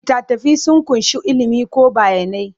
Littattafai sun ƙunshi ilimi ko bayanai.